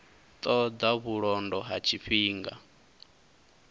ṱo ḓa vhulondo ha tshifhinga